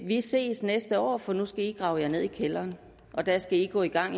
vi ses næste år for nu skal i grave jer ned i kælderen og der skal i gå i gang